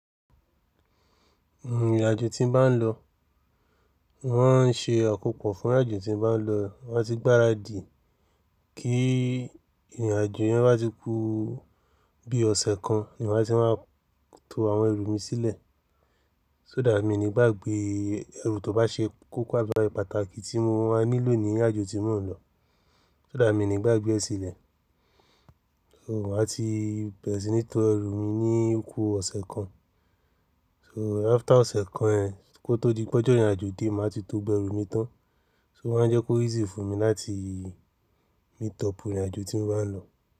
Ìrìn àjò tí n bá lọ, wọ́n n ṣe àkóko fún ìrìn àjò tí n bá lọ mati gbáradì kí ìrìn àjò yẹn bá ti kú bí ọ̀sẹ̀ kan ni má ti máa tó àwọn ẹrù mi sílẹ̀. So dá mi nígbàgbé ẹrù tó bá ṣe kókó àbi eru pàtàkì tí mo máa nílò ní ìrìn àjò tí mò ń lọ. So dá mi nígbà gbé ẹ sílẹ̀. So má ti bẹ̀rẹ̀ sí ní to ẹrù mi ní okú ọ̀sẹ̀ kan. So after ọ̀sẹ̀ kan ẹ, kó tó di pé ọjọ́ ìrìn àjò dé má ti tó gbogbo ẹrù mi tán. O wá ń jẹ́ kó easy fún mi láti meet up ìrìn àjò tí n bá lọ.